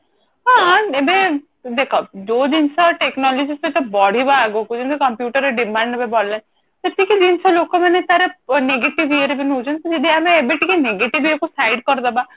ହଁ ଏବେ ଦେଖ ଯୋଉ ଜିନିଷ technology ସହିତ ବଢିବ ଆଗକୁ ଯେମତି computer ର demand ଏବେ ବଢିଲାଣି ସେତିକି ଜିନିଷ ଲୋକମାନେ ତାର negative ଇଏ ରେ ବି ନଉଛନ୍ତି ଯଦି ଆମେ ତାର negative ଇଏ କୁ side କରିଦେବା